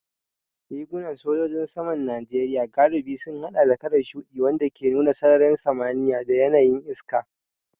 Rigunan sojojin saman Najeriya galibi sun haɗa da kalar shuɗi, wanda ke nuna sararin samaniya da yanayin iska.